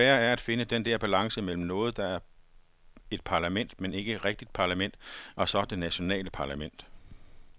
Det svære er at finde den der balance mellem noget, der er et parlament, men ikke et rigtigt parlament, og så det nationale parlament.